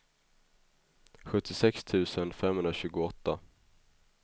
sjuttiosex tusen femhundratjugoåtta